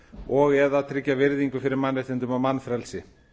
og eða tryggja virðingu fyrir mannréttindum og mannfrelsi